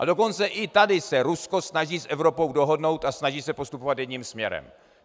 A dokonce i tady se Rusko snaží s Evropou dohodnout a snaží se postupovat jedním směrem.